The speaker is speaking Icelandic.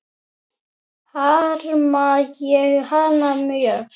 Harma ég hana mjög.